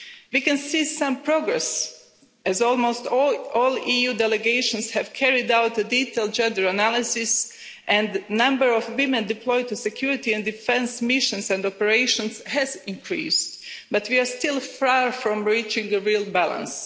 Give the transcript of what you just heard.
We can see some progress as almost all EU delegations have carried out a detailed gender analysis and the number of women deployed to security and defence missions and operations has increased, but we are still far from reaching a real balance.